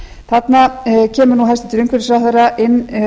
þarna kemur nú hæstvirtur umhverfisráðherra inn